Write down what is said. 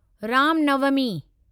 Ram Navami